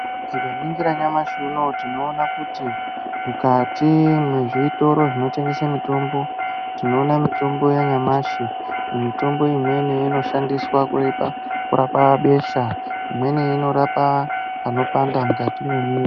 Tikaningira nyamashi unoyu tinoona kuti mukati mezvitoro zvinotengese mitombo tinoona mitombo yanyamashi, mitombo imweni inoshandiswa kurapa besha, imweni inorapa panopanda mukati memuiri.